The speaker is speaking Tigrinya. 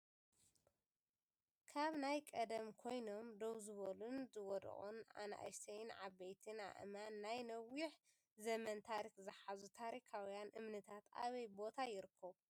ካብ ናይ ቀደም ኮይኖም ደውዝበሉን ዝወደቁን ኣናእሽተይን ዓበይትን ኣእማን ናይ ነዊሽ ዘመን ታሪክ ዝሓዙ ታሪካዊያን እምንታት ኣበይ ቦታ ይርከቡ ?